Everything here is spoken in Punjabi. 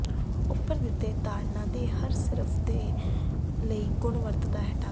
ਉੱਪਰ ਦਿੱਤੇ ਤਾੜਨਾ ਦੇ ਹਰ ਸਿਰਫ ਉਸ ਦੇ ਲਈ ਗੁਣ ਵਰਤਦਾ ਹੈ ਢੰਗ